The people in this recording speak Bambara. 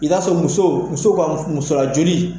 I n'a fɛ muso muso ka musoyajoli